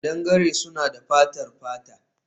Kadangare suna da fatar fata